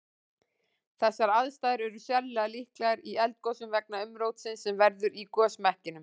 Þessar aðstæður er sérlega líklegar í eldgosum vegna umrótsins sem verður í gosmekkinum.